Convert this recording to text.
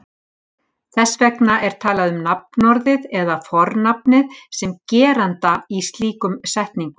Þess vegna er talað um nafnorðið eða fornafnið sem geranda í slíkum setningum.